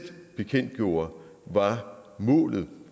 bekendtgjorde var målet